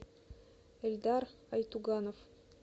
эльдар айтуганов